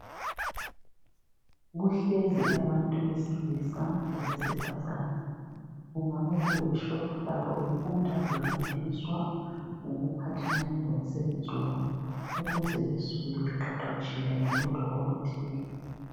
Kuhlezi abantu abesilisa labesifazana kungaba kuworkshop lapho befunda nefundiswa ngokuphathelane lomsebenzi wabo ukuze besuke beqeqetshile ngolutho oluthile.